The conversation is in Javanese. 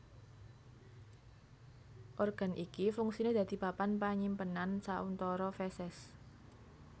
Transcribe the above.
Organ iki fungsiné dadi papan panyimpenan sauntara feses